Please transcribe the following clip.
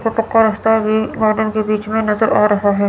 पक्का रास्ता भी गार्डन के बीच में नजर आ रहा है।